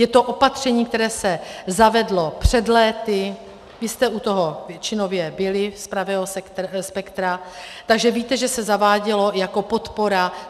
Je to opatření, které se zavedlo před lety, vy jste u toho většinově byli z pravého spektra, takže víte, že se zavádělo jako podpora.